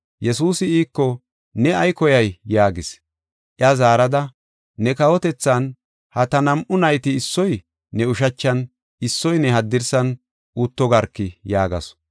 Yesuusi iiko, “Ne ay koyay?” yaagis. Iya zaarada, “Ne kawotethan ha ta nam7u nayti issoy ne ushachan issoy ne haddirsan utto garki!” yaagasu.